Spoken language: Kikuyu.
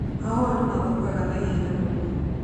Mahũa nĩ mathũkaga na ihenya mũno.